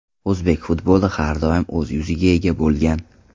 O‘zbek futboli har doim o‘z yuziga ega bo‘lgan.